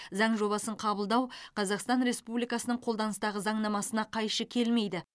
заң жобасын қабылдау қазақстан республикасының қолданыстағы заңнамасына қайшы келмейді